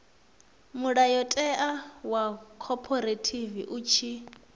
mulayotewa wa khophorethivi u tshi